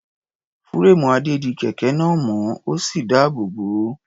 Fúréèmù Adé di kẹ̀kẹ́ náà mọ́, ó sì dáàbò bò ó.